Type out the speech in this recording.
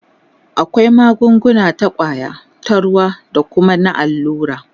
akwai magunguna ta kwaya, ta ruwa da Kuma na allura